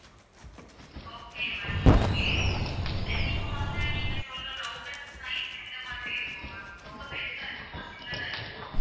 okay ma'am okay then இப்போ வந்து நீங்க சொல்லுற router size எந்த மாதிரி இருக்கும் ma'am ரொம்ப பெருசா இருக்குமா சின்னதா இருக்குமா